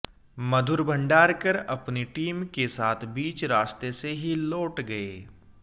मधुर भंडारकर अपनी टीम के साथ बीच रास्ते से ही लौट गए